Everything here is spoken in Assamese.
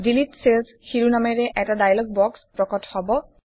ডিলিট চেলছ শিৰোনামেৰে এটা ডায়লগ বক্স প্ৰকট হব